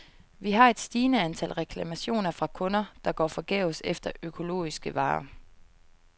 Vi har et stigende antal reklamationer fra kunder, der går forgæves efter økologiske varer.